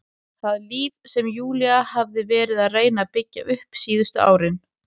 Það líf sem Júlía hafði verið að reyna að byggja upp síðustu árin.